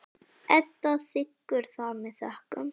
Edda þiggur það með þökkum.